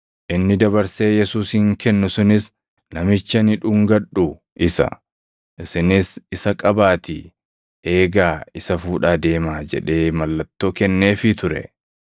Inni dabarsee Yesuusin kennu sunis, “Namichi ani dhungadhu isa; isinis isa qabaatii eegaa isa fuudhaa deemaa” jedhee mallattoo kenneefii ture.